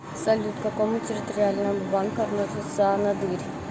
салют к какому территориальному банку относится анадырь